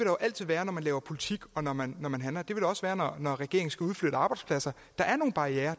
jo altid være når man laver politik og når man når man handler det vil der også være når regeringen skal udflytte arbejdspladser der er nogle barrierer